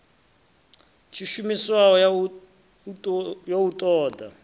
tshishumiswa ya u ṱo ḓa